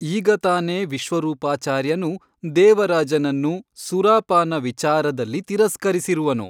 ಈಗ ತಾನೇ ವಿಶ್ವರೂಪಾಚಾರ್ಯನು ದೇವರಾಜನನ್ನು ಸೂರಾಪಾನ ವಿಚಾರದಲ್ಲಿ ತಿರಸ್ಕರಿಸಿರುವನು.